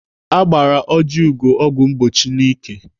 Agbara Ojiugo ọgwụ mgbochi n'ike.